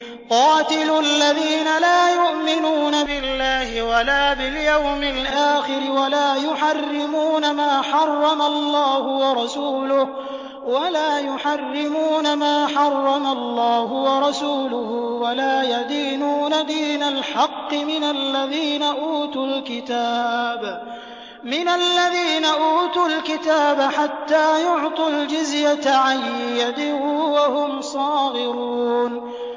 قَاتِلُوا الَّذِينَ لَا يُؤْمِنُونَ بِاللَّهِ وَلَا بِالْيَوْمِ الْآخِرِ وَلَا يُحَرِّمُونَ مَا حَرَّمَ اللَّهُ وَرَسُولُهُ وَلَا يَدِينُونَ دِينَ الْحَقِّ مِنَ الَّذِينَ أُوتُوا الْكِتَابَ حَتَّىٰ يُعْطُوا الْجِزْيَةَ عَن يَدٍ وَهُمْ صَاغِرُونَ